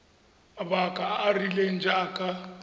mabaka a a rileng jaaka